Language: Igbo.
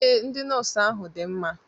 Ee, ndị nọọsụ ahu dị mma